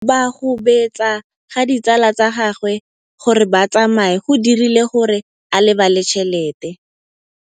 Go gobagobetsa ga ditsala tsa gagwe, gore ba tsamaye go dirile gore a lebale tšhelete.